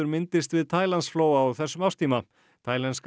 myndist við Taílandsflóa á þessum árstíma